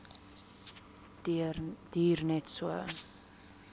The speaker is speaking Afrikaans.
duur net so